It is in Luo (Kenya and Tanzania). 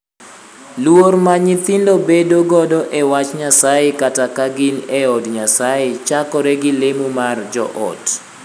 Luor ma nyithindo bedo godo e wach Nyasaye kata ka gin e od Nyasaye chakore gi lemo mar joot.